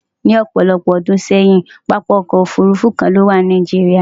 Ni òpòlopò odún séyìn, papa okò òfurufú kan lówà ní Nigeria.